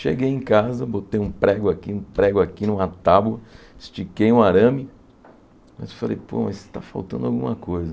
Cheguei em casa, botei um prego aqui, um prego aqui, numa tábua, estiquei um arame, mas falei, pô, mas está faltando alguma coisa.